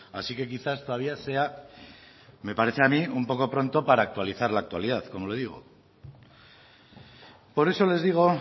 así que quizás todavía sea me parece a mí un poco pronto para actualizar la actualidad como le digo por eso les digo